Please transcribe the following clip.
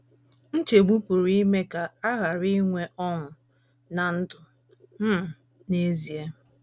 Nchegbu pụrụ ime ka a ghara inwe ọṅụ ná ndụ um n’ezie.